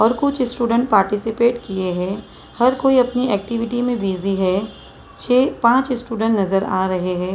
और कुछ student participate किए हैं हर कोई अपनी एक्टिविटी में बिजी है छह पांच स्टूडेंट नजर आ रहे हैं।